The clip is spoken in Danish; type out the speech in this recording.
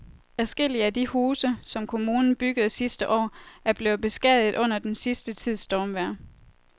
Adskillige af de huse, som kommunen byggede sidste år, er blevet beskadiget under den sidste tids stormvejr.